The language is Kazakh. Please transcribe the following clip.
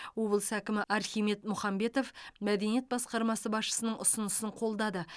облыс әкімі архимед мұхамбетов мәдениет басқармасы басшысының ұсынысын қолдады